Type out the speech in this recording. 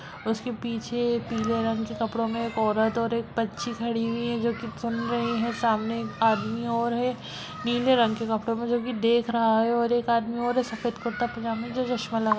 उसके पीछे पीले रंग के कपड़ो में एक औरत और एक बच्ची खड़ी हुई है जो की सुन रही है सामने एक आदमी और है नीले रंग के कपड़ो में जो की देख रहा है और एक आदमी और है सफेद कुर्ता पैजामा जो चश्मा लगा --